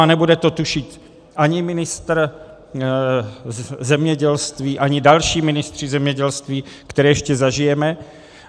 A nebude to tušit ani ministr zemědělství, ani další ministři zemědělství, které ještě zažijeme.